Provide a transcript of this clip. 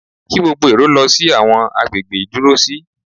Kí gbogbo èrò lọ sí àwọn agbègbè ìdúró sí.